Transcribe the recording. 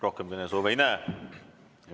Rohkem kõnesoove ei näe.